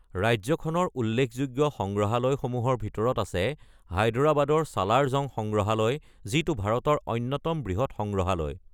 ৰাজ্যখনৰ উল্লেখযোগ্য সংগ্ৰহালয়সমূহৰ ভিতৰত আছে হায়দৰাবাদৰ ছালাৰ জং সংগ্ৰহালয়, যিটো ভাৰতৰ অন্যতম বৃহৎ সংগ্ৰহালয়।